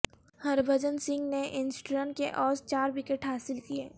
ہربھجن سنگھ نے انسٹھ رن کے عوض چار وکٹ حاصل کیے